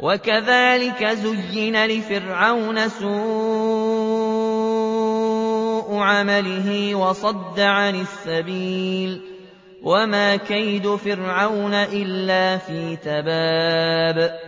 وَكَذَٰلِكَ زُيِّنَ لِفِرْعَوْنَ سُوءُ عَمَلِهِ وَصُدَّ عَنِ السَّبِيلِ ۚ وَمَا كَيْدُ فِرْعَوْنَ إِلَّا فِي تَبَابٍ